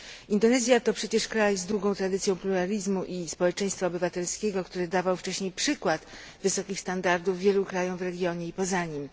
Indonezja to przecież kraj z długą tradycją pluralizmu i społeczeństwa obywatelskiego, który dawał wcześniej przykład wysokich standardów wielu krajom w regionie i poza nim.